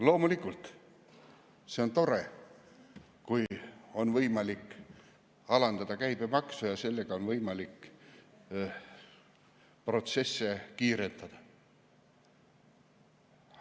Loomulikult on tore, kui on võimalik alandada käibemaksu ja sellega protsesse kiirendada.